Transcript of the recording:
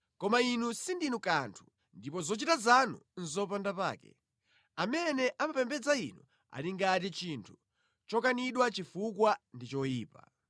Koma inu sindinu kanthu ndipo zochita zanu nʼzopandapake; amene amapembedza inu ali ngati chinthu chokanidwa chifukwa ndi choyipa.